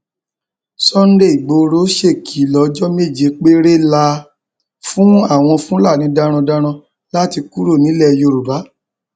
sunday igboro ṣèkìlọ ọjọ méje péré la fún àwọn fúlàní darandaran láti kúrò nílẹ yorùbá